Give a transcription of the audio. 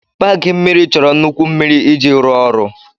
Paaki mmiri chọrọ nnukwu mmiri iji rụọ ọrụ.